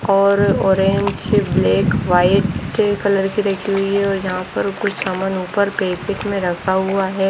और ऑरेंज से black white colour की रखी हुई है और जहाँ पर कुछ सामन ऊपर पैकेट में रखा हुआ है।